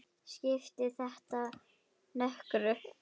Skiptir þetta nokkru?